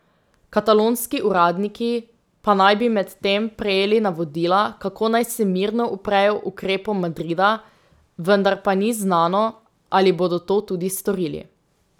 Katalonski uradniki pa naj bi medtem prejeli navodila, kako naj se mirno uprejo ukrepom Madrida, vendar pa ni znano, ali bodo to tudi storili.